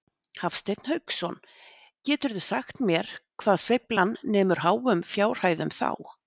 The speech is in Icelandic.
Hafsteinn Hauksson: Geturðu sagt mér hvað sveiflan nemur háum fjárhæðum þá?